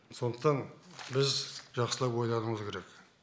сондықтан біз жақсылап ойлануымыз керек